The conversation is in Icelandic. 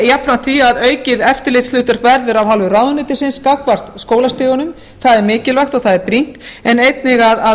jafnframt því að aukið eftirlitshlutverk verður af hálfu ráðuneytisins gagnvart skólastigunum það er mikilvægt og það er brýnt en einnig að